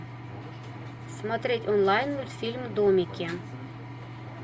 смотреть онлайн мультфильм домики